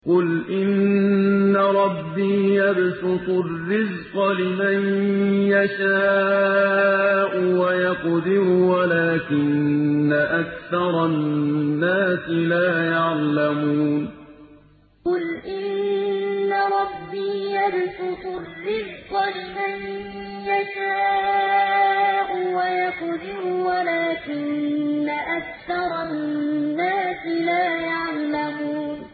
قُلْ إِنَّ رَبِّي يَبْسُطُ الرِّزْقَ لِمَن يَشَاءُ وَيَقْدِرُ وَلَٰكِنَّ أَكْثَرَ النَّاسِ لَا يَعْلَمُونَ قُلْ إِنَّ رَبِّي يَبْسُطُ الرِّزْقَ لِمَن يَشَاءُ وَيَقْدِرُ وَلَٰكِنَّ أَكْثَرَ النَّاسِ لَا يَعْلَمُونَ